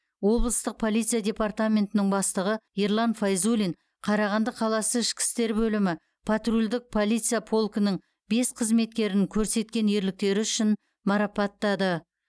облыстық полиция департаментінің бастығы ерлан файзуллин қарағанды қаласы ішкі істер бөлімі патрульдік полиция полкінің бес қызметкерін көрсеткен ерліктері үшін марапаттады